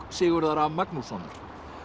Sigurðar a Magnússonar